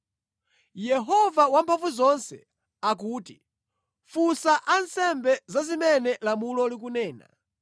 “Yehova Wamphamvuzonse akuti, ‘Funsa ansembe za zimene lamulo likunena: